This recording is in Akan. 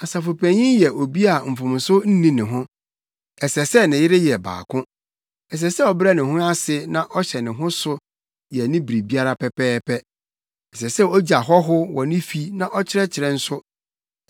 Asafopanyin yɛ obi a mfomso nni ne ho. Ɛsɛ sɛ ne yere yɛ baako. Ɛsɛ sɛ ɔbrɛ ne ho ase na ɔhyɛ ne ho so yɛ ne biribiara pɛpɛɛpɛ. Ɛsɛ sɛ ogye ahɔho wɔ ne fi na ɔkyerɛkyerɛ nso.